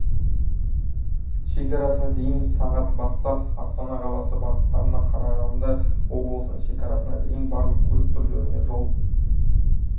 шекарасына дейін сағат бастап астана қаласы бағытында қарағанды облысының шекарасына дейін барлық көлік түрлеріне жол